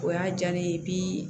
O y'a diya ne ye